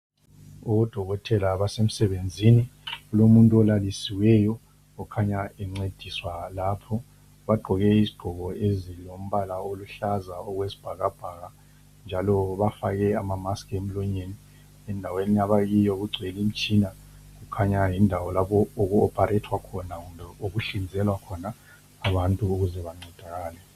Odokotela basemsebenzini kulomuntu olalisiweyo okhanya encediswa lapho. Bagqoke izigqoko ezilombala oluhlaza okwesibhakabhaka njalo bafake amamaski emlonyeni. Endaweni abakiyo kugcwele imitshina kukhanya yindawo lapho oku opharethwa khona, kumbe okuhlinzwelwa khona abantu ukuze bancedakale.